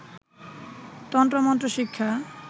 তন্ত্র মন্ত্র শিক্ষা